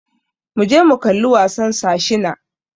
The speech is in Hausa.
Muje mu kalla wasan Sir Shina.